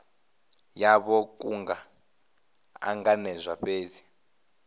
yavho ku nga ṱanganedzwa fhedzi